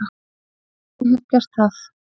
Já ég hef gert það.